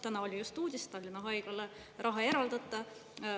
Täna oli just uudis: Tallinna haiglale raha ei eraldata.